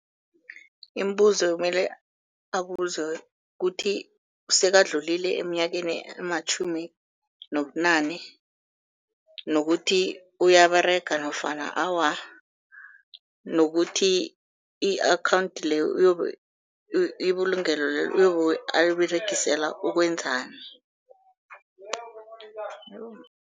Imibuzo emele abuzwe kukuthi sekadlulile eminyakeni ematjhumi nobunane, nokuthi uyaberega nofana awa, nokuthi i-akhawunthi leyo ibulungelo lelo uyobe aliberegisela ukwenzani.